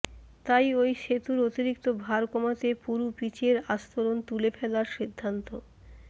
তাই ওই সেতুর অতিরিক্ত ভার কমাতে পুরু পিচের আস্তরণ তুলে ফেলার সিদ্ধান্ত